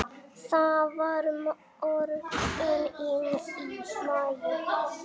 Það var morgunn í maí.